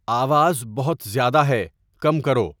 آواز بہت زیادہ ہے، کم کرو